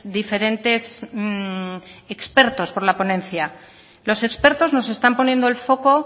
diferentes expertos por la ponencia los expertos nos están poniendo el foco